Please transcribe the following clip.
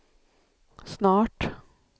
snart